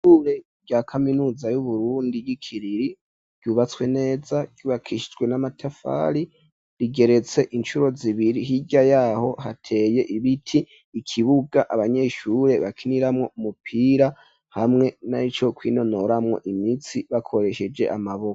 Ishure rya kaminuza yu Burundi y'ikiriri ryubatswe neza ryubakishijwe n'amatafari rigeretse inshuro zibiri hirya yaho hateye ibiti ikibuga abanyeshure bakiniramwo umupira hamwe narico kwinonoramwo imitsi bakoresheje amaboko.